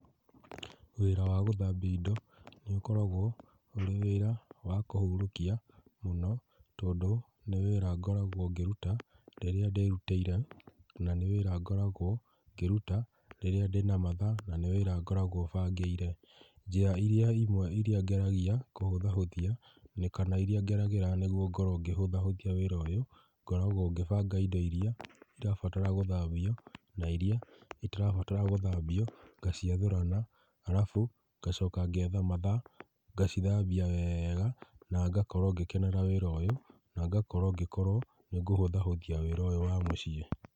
Wĩra wa gũthambĩa ĩndo nĩ ũkoragwo ũrĩ wĩra wa kũhũrũkia mũno tondũ nĩ wĩra ngoragwo ngĩrũta rĩrĩa ndĩĩrũtĩire na nĩ wĩra ngoragwo ngĩrũta rĩrĩa ndĩ na mathaa na nĩ wĩra ngoragwo bangĩire. Njĩra ĩrĩa ĩmwe ngeragĩa kũhũthahũthĩa na kana ĩrĩa ngeragĩra nĩgwo ngorwo ngĩhũthahũthĩa wĩra ũyũ ngoragwo ngĩbanga ĩndo ĩrĩa ĩrabatara gũthambĩo na ĩrĩa ĩtarabatara gũthambĩo ngacĩathũrana arabu ngacoka ngetha mathaa ngacĩthambĩa wega na ngakorwo ngĩkenera wĩra ũyũ na ngakorwo ngĩkorwo nĩngũhũthahũthĩa wĩra ũyũ wa mũciĩ.